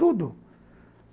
Tudo.